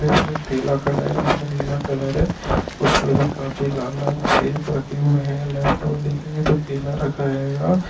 इसमे ठेला खड़ा हैं जिसमे नीला कलर हैं उसमे भी काफी लाल-लाल सेब रखे हुए हैं लेफ्ट और देखेंगे तो केला रखा हेगा--